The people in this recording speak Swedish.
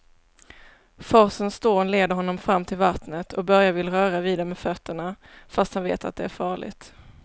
Forsens dån leder honom fram till vattnet och Börje vill röra vid det med fötterna, fast han vet att det är farligt.